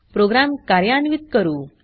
programme कार्यान्वीत करू